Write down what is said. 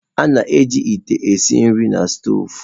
A na-eji ite esi nri na stoovu.